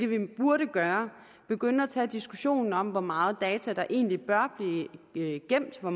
vi burde gøre begynde at tage diskussionen om hvor mange data der egentlig bør blive gemt hvor